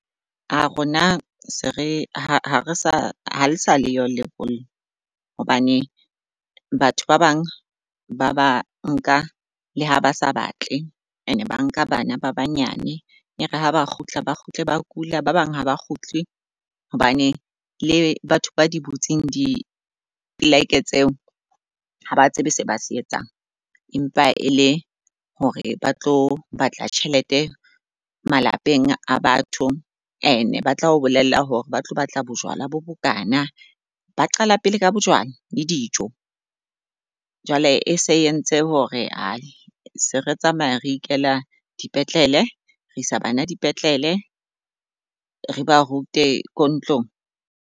A rona se re ha re sa ha le sa leyo lebollo, hobane batho ba bang ba ba nka le ha ba sa batle and ba nka bana ba banyane e re ha ba kgutla, ba kgutle, ba kula. Ba bang haba kgutle hobane le batho ba di butseng dipleke tseo ha ba tsebe se ba se etsang, empa ele hore ba tlo batla tjhelete malapeng a batho. And-e ba tla o bolella hore ba tlo batla bojwala bo bokana, ba qala pele ka bojwala le dijo. Jwale e se entse hore ae se re tsamaya re ikela dipetlele, re isa bana dipetlele. Re ba rute ko ntlong.